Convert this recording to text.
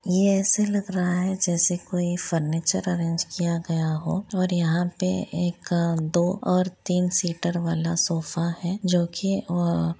ये ऐसे लग रहा है जैसे कोई फर्नीचर अरेंज किया गया हो और यहाँ पे एक अ दो और तीन सीटर वाला सोफा है जो की अ--